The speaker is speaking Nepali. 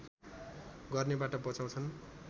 गर्नेबाट बचाउँछन्